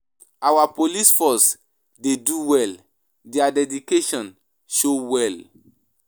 Our police force dey do well. Their dedication show well.